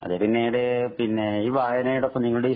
അത് പിന്നിട് പിന്നെ ഈ വയനയോടൊപ്പം നിങ്ങളുടെ ഈ